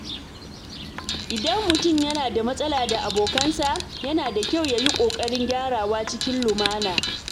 Idan mutum yana da matsala da abokansa, yana da kyau ya yi ƙoƙarin gyarawa cikin lumana.